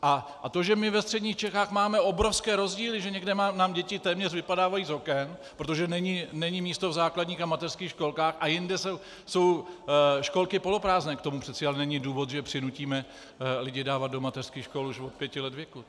A to, že my ve středních Čechách máme obrovské rozdíly, že někde nám děti téměř vypadávají z oken, protože není místo v základních a mateřských školkách, a jinde jsou školky poloprázdné, k tomu přece ale není důvod, že přinutíme lidi dávat do mateřských škol už od pěti let věku.